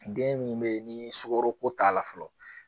Den min bɛ ye ni sukoroko t'a la fɔlɔ.